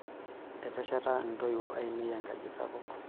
Etesheta ntoiwuo ainei enkaji sapuk.